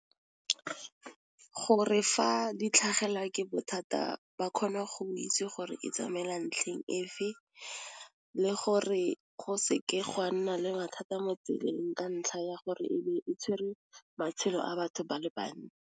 Gore fa di tlhagelwa ke bothata ba kgona go itse gore e tsamaela ntlheng efe le gore go se ke gwa nna le mathata mo tseleng ka ntlha ya gore ebe e tshwere matshelo a batho ba le bantsi.